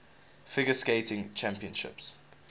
figure skating championships